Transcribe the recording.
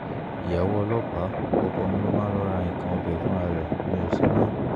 ìyàwó ọlọ́pàá ọkọ mi ló máa ń lọo ra nǹkan ọbẹ̀ fúnra ẹ̀ mi ò ṣe mọ́